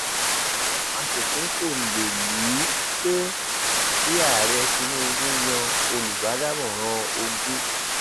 àwọn aṣòfin fòǹdè lù ú pé kí ààrẹ tinubu yan olùbádámọràn ogun